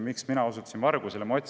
Miks ma osutasin vargusele?